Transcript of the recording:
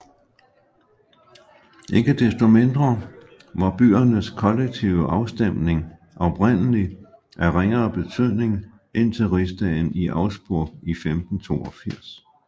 Ikke desto mindre var byernes kollektive afstemning oprindeligt af ringere betydning indtil rigsdagen i Augsburg i 1582